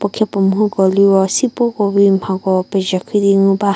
puo khie puo mhu ko liro sibo ko rei mhako pejo khri di ngu ba.